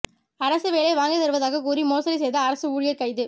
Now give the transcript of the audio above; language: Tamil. அரசு வேலை வாங்கித் தருவதாக கூறி மோசடி செய்த அரசு ஊழியர் கைது